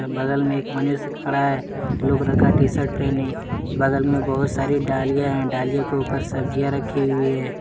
बगल में एक मनुष्य खड़ा है ब्लू कलर का टी शर्ट पहने बगल में बहुत सारी डालियाँ है डालियों के ऊपर सब्जियां रखी हुई हैं।